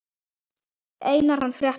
Einar hann frétta.